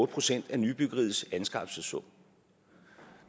procent af nybyggeriets anskaffelsessum